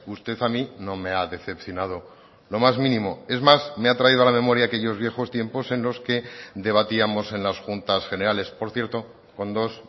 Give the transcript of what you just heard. usted a mí no me ha decepcionado lo más mínimo es más me ha traído a la memoria aquellos viejos tiempos en los que debatíamos en las juntas generales por cierto con dos